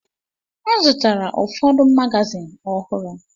M zụtara ụfọdụ magazin ọhụrụ.